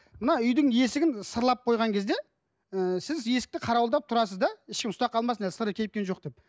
мына үйдің есігін сырлап қойған кезде ыыы сіз есікті қарауылдап тұрасыз да ешкім ұстап қалмасын әлі сыры кепкен жоқ деп